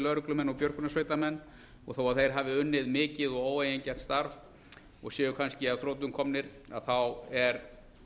lögreglumenn og björgunarsveitarmenn og þó að þeir hafi unnið mikið og óeigingjarnt starf og séu kannski að þrotum komnir þá er